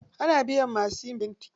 Ana biyan masu yin fenti.